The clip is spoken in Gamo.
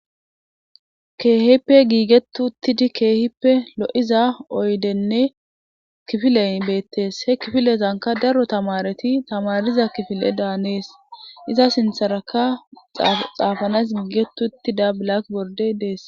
keehippe giigettuttidi keehippe lo7iza oydenne kifileyn beettees he kifilezanka daro tamareti tamariza kifile daanees iza sintharaka xaafanas giigetuttida blak bordey dees